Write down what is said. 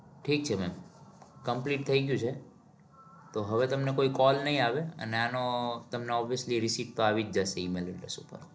ઠીક છે ma'am complete થઇ ગયું છે. તો હવે તમને કોઈ call નહિ આવે. અને આનો તમને obviously receipt તો આવી જ જશે email ઉપર.